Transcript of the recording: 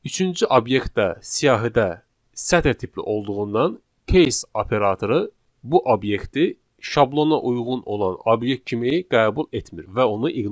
Üçüncü obyekt də siyahıda sətir tipli olduğundan case operatoru bu obyekti şablona uyğun olan obyekt kimi qəbul etmir və onu ignore edir.